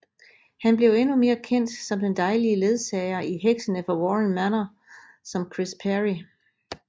Han blev endnu mere kendt som den dejlige ledsager i Heksene fra Warren Manor som Chris Perry